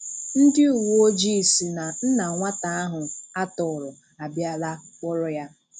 Ndị uweojii sị na nna nwata ahụ atọrọ á bìalà kpọrọ ya.